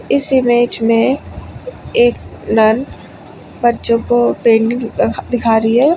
इस इमेज में एक बच्चों को पेंटिंग ल दिखा रही है।